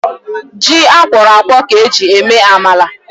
Ji akwọrọ akwọ ka eji eme amala